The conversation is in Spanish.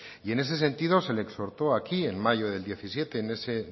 y en ese sentido se le exhortó aquí en mayo de dos mil diecisiete en ese